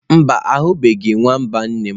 Mba, ahubeghi nwamba nne'm.